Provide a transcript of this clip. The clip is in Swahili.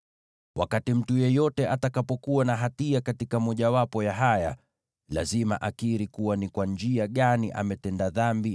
“ ‘Wakati mtu yeyote atakapokuwa na hatia katika mojawapo ya haya, lazima akiri ni kwa njia gani ametenda dhambi,